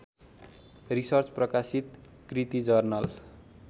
research प्रकाशित कृतिजर्नल